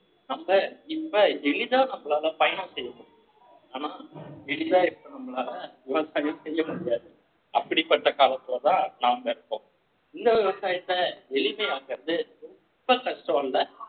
அப்ப இப்ப எளிதா நம்மளால பயணம் செய்ய முடியும் ஆனா எளிதா இப்ப நம்மளால விவசாயம் செய்ய முடியாது அப்படிப்பட்ட காலத்துலதான் நாம இருக்கோம் இந்த விவசாயத்தை எளிமையாக்கறது ரொம்ப கஷ்டம் இல்ல